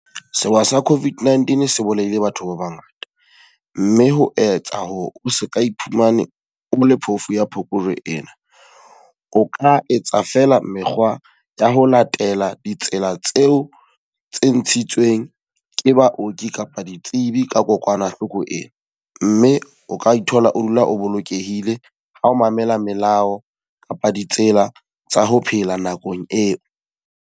Sewa sa COVID-19 se bolaile batho ba ba ngata. Mme ho etsa hore o seka iphumana o le phofu ya Phokojwe ena. O ka etsa feela mekgwa ya ho latela ditsela tseo tse ntshitsweng ke baoki kapa ditsebi ka kokwanahloko ena. Mme o ka ithola o dula o bolokehile, ha o mamela melao kapa ditsela tsa ho phela nakong eo.